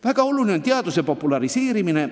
Väga oluline on teaduse populariseerimine.